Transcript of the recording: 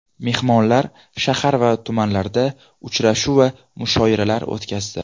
Mehmonlar shahar va tumanlarda uchrashuv va mushoiralar o‘tkazdi.